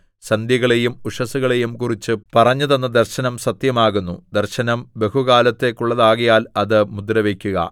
സന്ധ്യകളെയും ഉഷസ്സുകളെയും കുറിച്ച് പറഞ്ഞ് തന്ന ദർശനം സത്യമാകുന്നു ദർശനം ബഹുകാലത്തേക്കുള്ളതാകയാൽ അത് മുദ്രവയ്ക്കുക